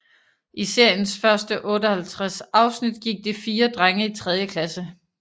I seriens første 58 afsnit gik de fire drenge i tredje klasse